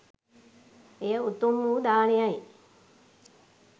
එය උතුම් වූ දානයයි